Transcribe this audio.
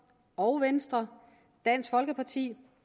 og venstre dansk folkeparti